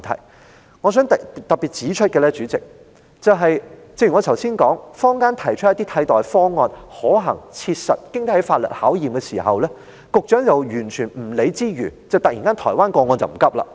主席，我想特別指出，正如我剛才所說，坊間提出了可行、切實及經得起法律考驗的替代方案，但局長卻毫不理會，突然又好像不急於處理台灣個案一般。